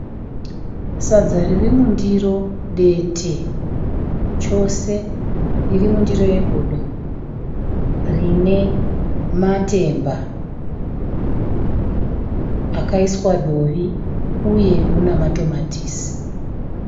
Sadza ririmundiro dete chose, ririmundiro yegodo rine matemba rakaiswa dovi uye mune matomatisi.